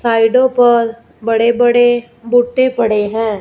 साइडो पर बड़े बड़े बूटे पड़े हैं।